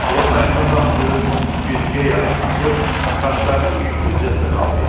O ayağa qalxdı, güzgüyə yaxınlaşıb saçlarına yüngülcə sığal verdi.